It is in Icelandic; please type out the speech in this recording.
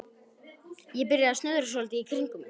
Ég byrjaði að snuðra svolítið í kringum þetta.